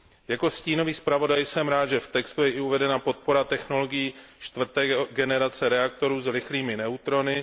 Jako stínový zpravodaj jsem rád, že v textu je uvedena i podpora technologií čtvrté generace reaktorů s rychlými neutrony.